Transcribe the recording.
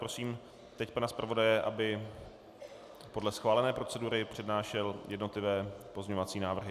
Prosím teď pana zpravodaje, aby podle schválené procedury přednášel jednotlivé pozměňovací návrhy.